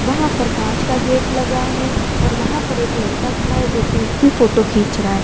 वहां पर कांच का गेट लगा है और वहां पर एक लड़का खड़ा है जो कि उसकी फोटो खींच रहा है।